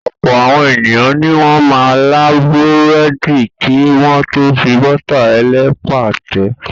Ọ̀pọ̀ àwọn ènìyàn ni wọ́n máa ń là búrẹ́dì kí wọ́n tó fi bọ́tà ẹlẹ́pà tẹ.